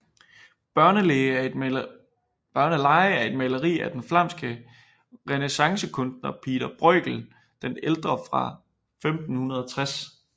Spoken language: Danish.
Børnelege er et maleri af den flamske renæssancekunstner Pieter Bruegel den ældre fra 1560